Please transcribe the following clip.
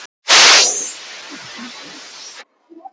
Þar eru til dæmis garðar.